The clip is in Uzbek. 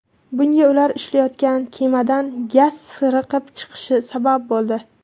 Bunga ular ishlayotgan kemadan gaz sirqib chiqishi sabab bo‘ldi.